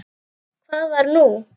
Hvað var nú?